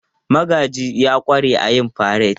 Magaji ya ƙware a yin fareti.